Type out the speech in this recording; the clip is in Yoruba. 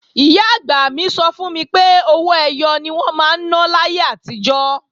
Ìyá-àgbà mi sọ fún mi pé owó ẹyọ ni wọ́n máa ń ná láyé àtijọ́